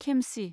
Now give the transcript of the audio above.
खेमसि